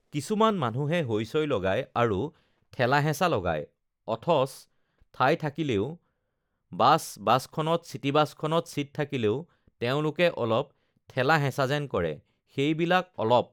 কিছুমান মানুহে হৈ-চৈ লগায় আৰু ঠেলা-হেঁচা লগায় অথচ ঠাই থাকিলেও বাছ বাছখনত, চিটিবাছখনত ছিট থাকিলেও তেওঁলোকে অলপ ঠেলা-হেঁচা যেন কৰে সেইবিলাক অলপ